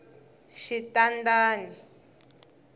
xitandani